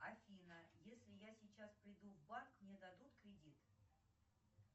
афина если я сейчас приду в банк мне дадут кредит